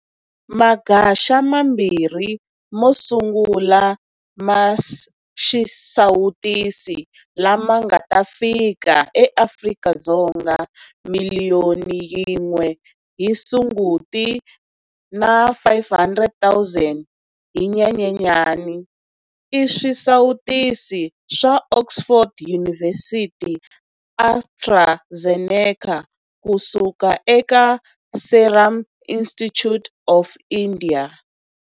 Magaxa mabirhi mo sungula ma xisawutisi la ma nga ta fika eAfrika-Dzonga, miliyoni yin'we hi Sunguti na 500 000 hi Nyenyenyana, i swisawutisi swa Oxford University-AstraZeneca kusuka eka Serum Institute of India.